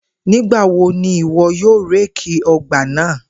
Nigbawo ni iwọ yoo réèkì ọgbà naa?